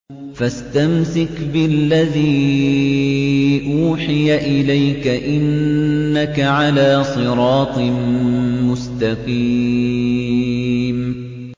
فَاسْتَمْسِكْ بِالَّذِي أُوحِيَ إِلَيْكَ ۖ إِنَّكَ عَلَىٰ صِرَاطٍ مُّسْتَقِيمٍ